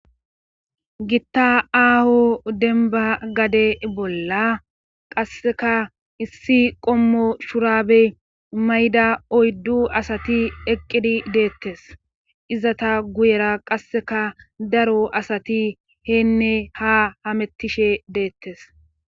Gitta aaho denba gade bolla qasseka issi qommo shurabe mayda oyddu asati eqqidi deettes iza ta guyera qasseka daro asati heenne ha hamettishe deettes